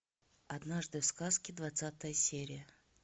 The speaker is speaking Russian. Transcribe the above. однажды в сказке двадцатая серия